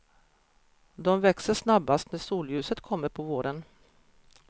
De växer snabbast när solljuset kommer på våren.